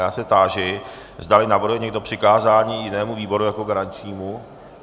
Já se táži, zdali navrhuje někdo přikázání jinému výboru jako garančnímu.